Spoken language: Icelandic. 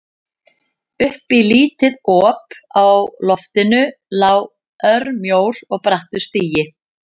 Upp í lítið op á loftinu lá örmjór og brattur stigi.